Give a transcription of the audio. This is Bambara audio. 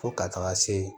Fo ka taga se